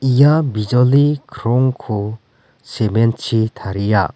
ia bijoli krongko sement -chi taria.